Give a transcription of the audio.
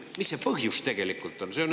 Mis see põhjus tegelikult on?